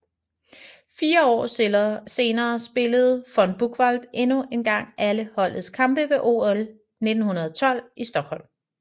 Fire år senere spillede von Buchwald endnu en gang alle holdets kampe ved OL 1912 i Stockholm